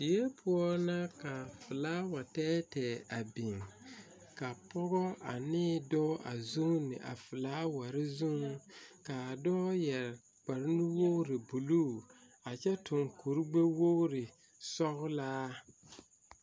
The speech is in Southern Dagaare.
Die poɔ la ka filaawa tɛɛtɛɛ a biŋ ka pɔge ane dɔɔ a zuune a filaaware zuŋ kaa dɔɔ yɛre kpare nu wogre buluu a kyɛ tuŋ kuri gbɛ wogre sɔglaa.